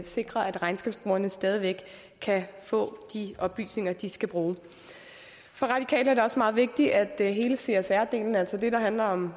sikrer at regnskabsbrugerne stadig væk kan få de oplysninger de skal bruge for radikale er det også meget vigtigt at hele csr delen altså det der handler om